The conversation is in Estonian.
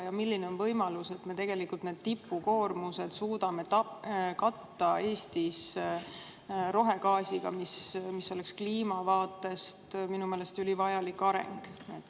Ja milline on võimalus, et me tegelikult tipukoormused suudame Eestis katta rohegaasiga, mis oleks kliima vaatenurgast minu meelest ülivajalik areng?